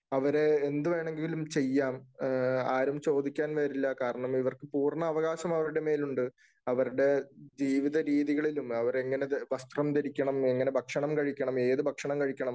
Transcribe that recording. അവരെ എന്ത് വേണമെങ്കിലും ചെയ്യാം. ആരും ചോദിക്കാൻ വരില്ല. കാരണം, ഇവർക്ക് പൂർണ്ണവകാശം അവരുടെ മേൽ ഉണ്ട്. അവരുടെ ജീവിതരീതികളിലും, അവര് എങ്ങനെ വസ്‍ത്രം ധരിക്കണം, എങ്ങനെ ഭക്ഷണം കഴിക്കണം, ഏതു ഭക്ഷണം കഴിക്കണം,